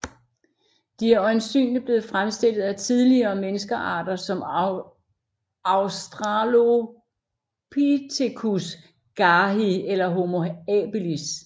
De er øjensynligt blevet fremstillet af tidligere menneskearter som Australopithecus garhi eller Homo habilis